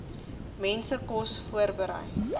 mense kos voorberei